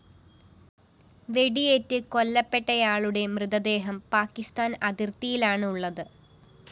വെടിയേറ്റ് കൊല്ലപ്പെട്ടയാളുടെ മൃതദേഹം പാക്കിസ്ഥാന്‍ അതിര്‍ത്തിയിലാണുള്ളത്